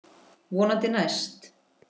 Vonandi næst.